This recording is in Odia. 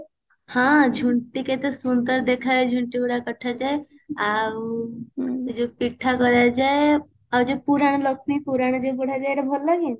ହଁ ଝୁଣ୍ଟି କେତେ ସୁନ୍ଦର ଦେଖା ଯାଏ ଝୁଣ୍ଟି ଗୁଡ କଟା ଯାଏ ଆଉ ଯୋଉ ପିଠା କରାଯାଏ ଆଉ ଯୋଉ ପୁରାଣ ଲକ୍ଷ୍ମୀ ପୁରାଣ ପଢା ଯାଏ ସେଟା ଭଲ ଲାଗେ